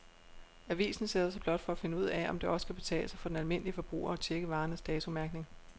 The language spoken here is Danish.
Avisen sætter sig blot for at finde ud af, om det også kan betale sig for den almindelige forbruger at checke varernes datomærkning.